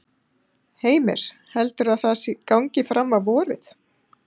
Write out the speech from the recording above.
Heimir: Heldurðu að það gangi fram á vorið?